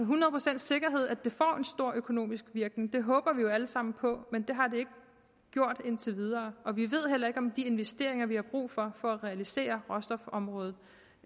hundrede procents sikkerhed at det får en stor økonomisk virkning det håber vi jo alle sammen på men det har det ikke gjort indtil videre og vi ved heller ikke om de investeringer vi har brug for for at realisere råstofområdet